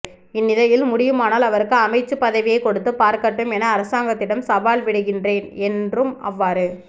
இந்நிலையில் முடியுமானால் அவருக்கு அமைச்சு பதவியை கொடுத்து பார்க்கட்டும் என அரசாங்கத்திடம் சவால் விடுகின்றேன் என்றும் அவ்வாறு